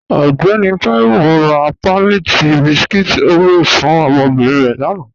Ọgbẹ̀nì Taiwo rá páàlí tí bískúít Oreos fún ọmọ́bírín rẹ̀ lána